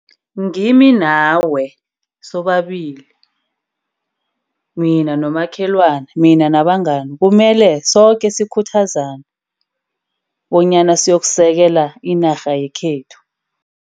Ngimi nawe sobabili. Mina nabomakhelwane. Mina nabangani kumele soke sikhuthaza bonyana siyokusekela inarha yekhethu.